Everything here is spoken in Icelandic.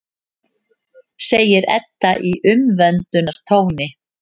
segir Edda í umvöndunartóni.